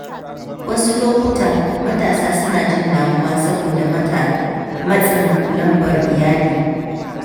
Wasu lokuta matasa suna jin damuwa saboda matsin lambar iyali.